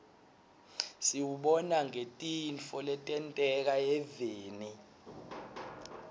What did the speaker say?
siwubona ngetintfo letenteka eveni